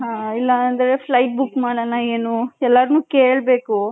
ಹ್ಮ್ಮ್ ಇಲ್ಲ ಅಂದ್ರೆ flight book ಮಾಡನ ಏನು ಎಲ್ಲರನು ಕೇಳಬೇಕು .